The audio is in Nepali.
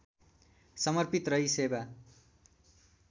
समर्पित रही सेवा